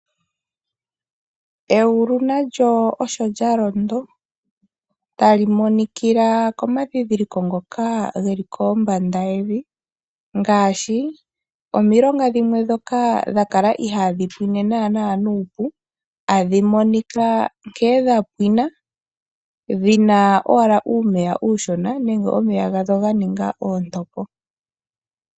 Egulu nalyo osho lya londo, tali monikila komandhindhiloko ngoka ge li kombanda yevi ngaashi: omilonga dhimwe ndhoka dha kala ihaadhi pwine mbala nuupu, tadhi monika nkene dha pwina, dhi na owala uumeya uushona nenge omeya gadho ga ninga oontopo.